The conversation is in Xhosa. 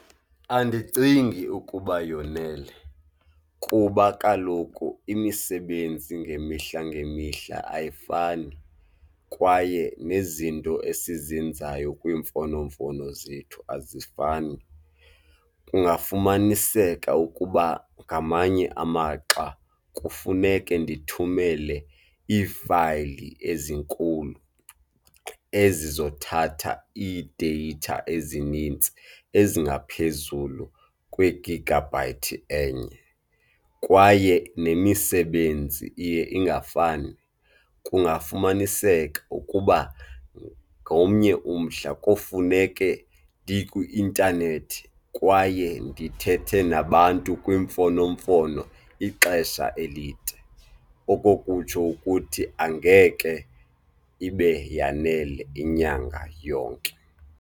Andicingi ukuba yonele kuba kaloku imisebenzi ngemihla ngemihla ayifani kwaye nezinto esizenzayo kwiimfonomfono zethu azifani. Kungafumaniseka ukuba ngamanye amaxa kufuneke ndithumele iifayili ezinkulu ezizothatha ii-data ezinintsi, ezingaphezulu kwigigabhayithi enye kwaye nemisebenzi iye ingafani. Kungafumaniseka ukuba ngomnye umhla kofuneke ndikwi-intanethi kwaye ndithethe nabantu kwimfonomfono ixesha elide, okokutsho ukuthi angeke ibe yanele inyanga yonke.